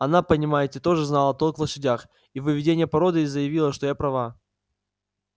она понимаете тоже знала толк в лошадях и в выведении породы и заявила что я права